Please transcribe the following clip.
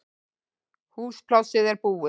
Húsplássið er búið